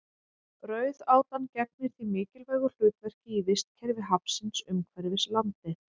Rauðátan gegnir því mikilvægu hlutverki í vistkerfi hafsins umhverfis landið.